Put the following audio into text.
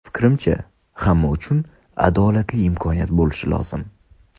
Fikrimcha, hamma uchun adolatli imkoniyat bo‘lishi lozim.